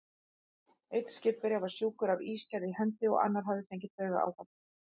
Einn skipverja var sjúkur af ígerð í hendi, og annar hafði fengið taugaáfall.